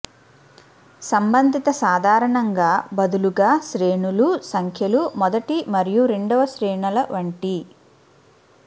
సంబంధిత సాధారణంగా బదులుగా శ్రేణులు సంఖ్యలు మొదటి మరియు రెండవ శ్రేణుల వంటి